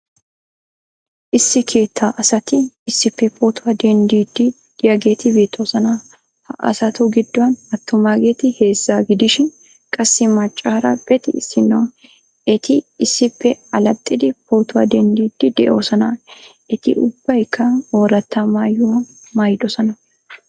Issi keettaa asati issippe pootuwa denddiiddi de'iyageeti beettoosona. Ha asatu giddon attumaageeti heezza gidishin qassi maccaara pexi issinno. Eti issippe allaxxiidi pootuwa denddiiddi de'oosona. Eti ubbaykka ooratta maayuwa maayddosona.